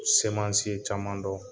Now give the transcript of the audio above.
Semansi ye caman dɔn.